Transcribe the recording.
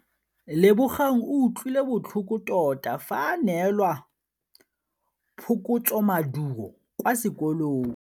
Lebogang o utlwile botlhoko tota fa a neelwa phokotsômaduô kwa sekolong.